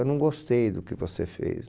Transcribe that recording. Eu não gostei do que você fez.